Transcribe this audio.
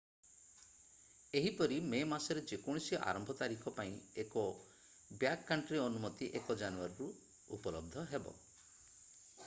ଏହିପରି ମେ ମାସରେ ଯେକୌଣସି ଆରମ୍ଭ ତାରିଖ ପାଇଁ ଏକ ବ୍ୟାକକଣ୍ଟ୍ରୀ ଅନୁମତି 1 ଜାନୁଆରୀରେ ଉପଲବ୍ଧ ହେବ